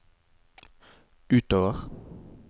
utover